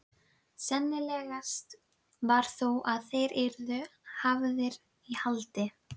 Seinni áfangi Kröfluvirkjunar og framtíð hennar